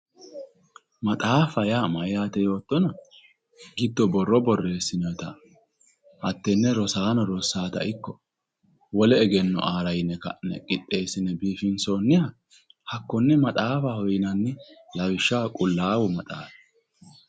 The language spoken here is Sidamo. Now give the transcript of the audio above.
Maxaafa yaa mayyate yoottoro giddo borro borreesinonnitta hatenne rosaano rossanotta ikko wole egenno aara yinne qixxeesine biifinsonniha hakkone maxaafaho yinnanni lawishshaho Qulaawu maxaafi.